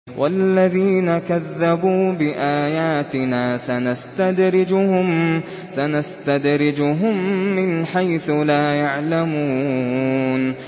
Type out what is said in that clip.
وَالَّذِينَ كَذَّبُوا بِآيَاتِنَا سَنَسْتَدْرِجُهُم مِّنْ حَيْثُ لَا يَعْلَمُونَ